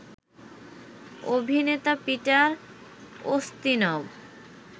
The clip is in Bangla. অভিনেতা পিটার উস্তিনভ